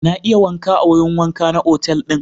Na iya wanka a wurin wanka na otal ɗin.